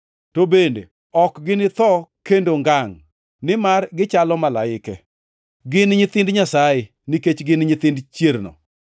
to bende ok ginitho kendo ngangʼ, nimar gichalo gi malaike. Gin nyithind Nyasaye, nikech gin nyithind chierno.